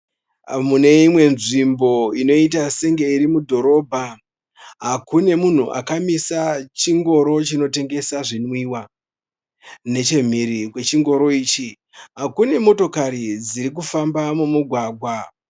Mune imwe nzvimbo inoita senge iri mudhorobha. Kune munhu akamisa chingoro chinotengesa zvinwiwa. Nechemhiri kwechingoro ichi kune motokari dziri kufamba mumugwagwa.